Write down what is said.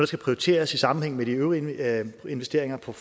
skal prioriteres i sammenhæng med de øvrige investeringer på